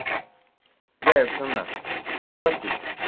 যাই হোক শোন না, শুনতে পাচ্ছিস?